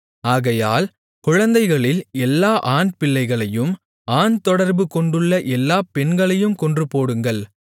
ஆகையால் குழந்தைகளில் எல்லா ஆண்பிள்ளைகளையும் ஆண்தொடர்பு கொண்டுள்ள எல்லா பெண்களையும் கொன்றுபோடுங்கள்